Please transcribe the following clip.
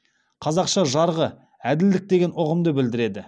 қазақша жарғы әділдік деген ұғымды білдіреді